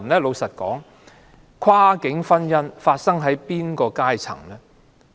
老實說，跨境婚姻發生在哪個階層呢？